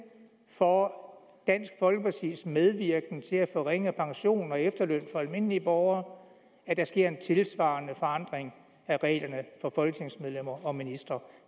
for dansk folkepartis medvirken til at forringe pension og efterløn for almindelige borgere at der sker en tilsvarende forandring af reglerne for folketingsmedlemmer og ministre